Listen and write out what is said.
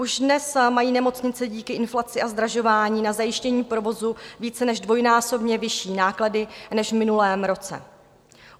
Už dnes mají nemocnice díky inflaci a zdražování na zajištění provozu více než dvojnásobně vyšší náklady než v minulém roce.